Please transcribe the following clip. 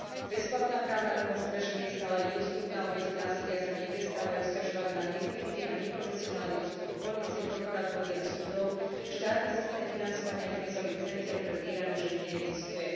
Bezplatná právna pomoc pre ženy je stále nedostupná, obete násilia sa neprestávajú sťažovať na necitlivý a neprofesionálny postup polície, prokuratúry a súdov, štátny systém financovania krízových centier pre týrané ženy neexistuje.